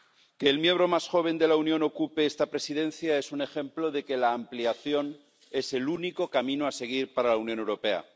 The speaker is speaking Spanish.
Que el Estado miembro más joven de la Unión ocupe esta Presidencia es un ejemplo de que la ampliación es el único camino a seguir para la Unión Europea.